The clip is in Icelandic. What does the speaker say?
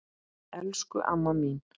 Elsku amma mín.